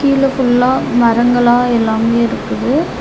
கீழ ஃபுல்லா மரங்களா எல்லாமே இருக்குது.